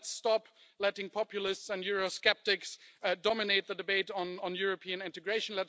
Let's stop letting populists and eurosceptics dominate the debate on European integration.